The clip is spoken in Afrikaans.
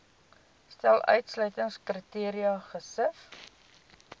stel uitsluitingskriteria gesif